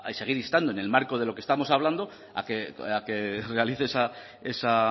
seguir instando en el marco de lo que estamos hablando a que realice esa